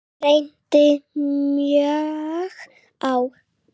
Það reyndi mjög á.